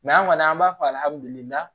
an kɔni an b'a fɔ